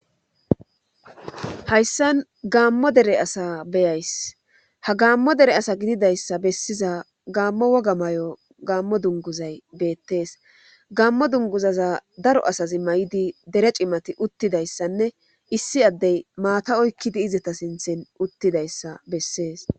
hayssan gaammo dere asa beyays ha gaammo dere asa gididayssa bessiza gaammo woga may7o gaammo dunguzay beettees gaammo dunguzaza daro asazi may7idi dere cimati uttidayssanne issi addey maata oykkidi izata sinthin uttidayssa bessees